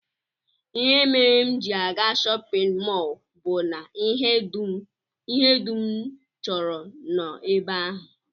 Ihe mere m ji aga shọpịn mọl bụ na ihe dum m chọrọ nọ ebe ahụ